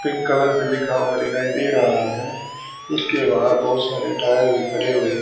pink colour से लिखा हुआ दिखाई दे रहा है इसके बाहर बहुत सारे टायर खड़े हुए--